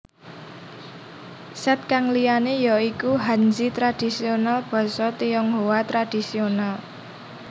Set kang liyane ya iku Hanzi tradisional Basa Tionghoa Tradisional